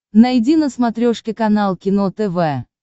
найди на смотрешке канал кино тв